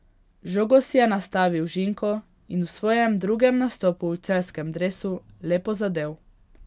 Žogo si je nastavil Žinko in v svojem drugem nastopu v celjskem dresu lepo zadel.